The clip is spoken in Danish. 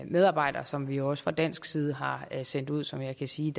medarbejdere som vi også fra dansk side har sendt ud og som jeg kan sige